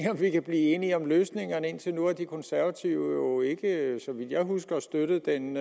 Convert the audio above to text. vi kan blive enige om løsningerne indtil nu har de konservative ikke så vidt jeg husker støttet den